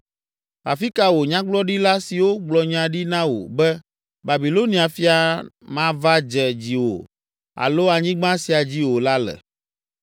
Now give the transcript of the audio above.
Afi ka wò nyagblɔɖila siwo gblɔ nya ɖi na wò be, ‘Babilonia fia mava dze dziwò alo anyigba sia dzi o la le?’